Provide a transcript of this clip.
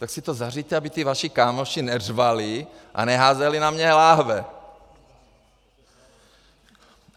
Tak si to zařiďte, aby ty vaši kámoši neřvali a neházeli na mě láhve.